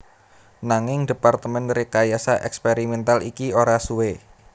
Nanging Departemen Rekayasa Eksperimental iki ora suwe